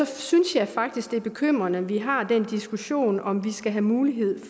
synes jeg faktisk det er bekymrende at vi har den diskussion om vi skal have mulighed